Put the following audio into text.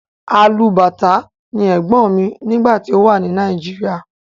Alubàtá ni ẹ̀gbọ́n mi nígbà tí ó wà ní Nàìjíríà.